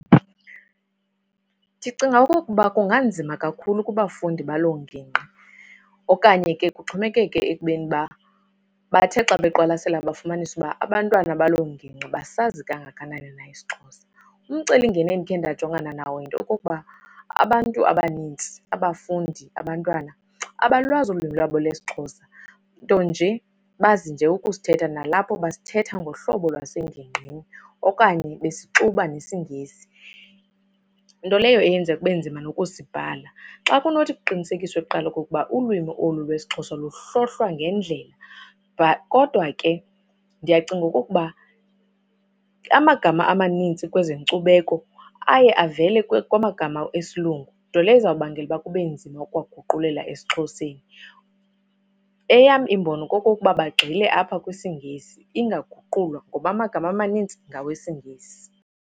Ndicinga okokuba kunganzima kakhulu kubafundi baloo ngingqi. Okanye ke kuxhomekeke ekubeni uba bathe xa beqwalasele bafumanisa uba abantwana baloo ngingqi basazi kangakanani na isiXhosa. Umcelimngeni endikhe ndajongana nawo yinto yokokuba abantu abaninzi, abafundi, abantwana, abalwazi olu lwimi lwabo lwesiXhosa ntonje bazi nje ukusithetha. Nalapho basithetha ngohlobo lwasengingqini okanye besixuba nesiNgesi, nto leyo eyenza kube nzima nokusibhala. Xa kunothi kuqinisekiswe kuqala okokuba ulwimi olu lwesiXhosa luhlohlwa ngendlela. Kodwa ke ndiyacinga okokuba amagama amaninzi kwezenkcubeko aye avele kwamagama esilungu, nto leyo ezobangela ukuba kube nzima ukwaguqula esiXhoseni. Eyam imbono kokokuba bagxile apha kwisiNgesi ingaguqulwa ngoba amagama amaninzi ngawesiNgesi.